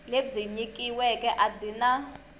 lebyi nyikiweke a byi na